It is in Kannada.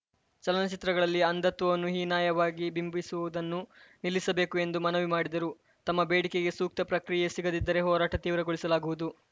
ಚಲನಚಿತ್ರಗಳಲ್ಲಿ ಅಂಧತ್ವನ್ನು ಹೀನಾಯವಾಗಿ ಬಿಂಬಿಸುವುದನ್ನು ನಿಲ್ಲಿಸಬೇಕು ಎಂದು ಮನವಿ ಮಾಡಿದರು ತಮ್ಮ ಬೇಡಿಕೆಗೆ ಸೂಕ್ತ ಪ್ರಕ್ರಿಯೆ ಸಿಗದಿದ್ದರೆ ಹೋರಾಟ ತೀವ್ರಗೊಳಿಸಲಾಗುವುದು